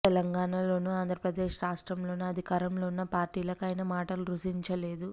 తెలంగాణలోనూ ఆంధ్రప్రదేశ్ రాష్ట్రంలోనూ అధికారంలో ఉన్న పార్టీలకు ఆయన మాటలు రుచించలేదు